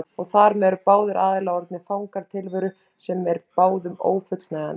Og þar með eru báðir aðilar orðnir fangar tilveru sem er báðum ófullnægjandi.